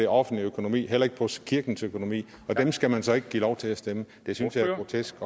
offentlige økonomi heller ikke på kirkens økonomi og dem skal man så ikke give lov til at stemme det synes jeg er grotesk